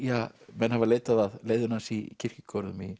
menn hafa leitað að leiðinu hans í kirkjugörðum í